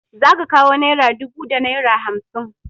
Za ka kawo naira dubu da naira hamsin.